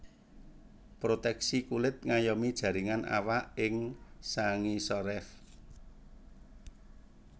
Proteksi kulit ngayomi jaringan awak ing sangisoréf